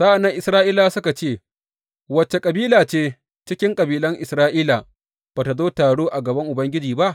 Sa’an nan Isra’ilawa suka ce, Wace kabila ce cikin kabilan Isra’ila ba tă zo taro a gaban Ubangiji ba?